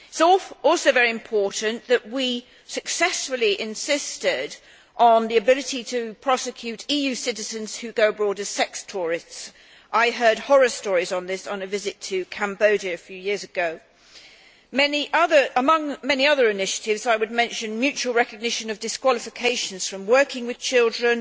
It is also very important that we successively insisted on the ability to prosecute EU citizens who go abroad as sex tourists. I heard horror stories on this on a visit to Cambodia a few years ago. Among many other initiatives I would mention mutual recognition of disqualifications from working with children,